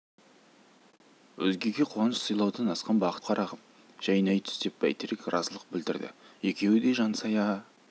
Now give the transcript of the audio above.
өзгеге қуаныш сыйлаудан асқан бақыт жоқ қарағым жайнай түс деп бәйтерек разылық білдірді екеуі де жансая